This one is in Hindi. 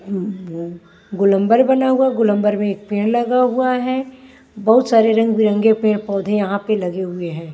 गोलंबर बना हुआ गोलंबर में एक पेड़ लगा हुआ है बहुत सारे रंग बिरंगे पेड़ पौधे यहां पे लगे हुए हैं।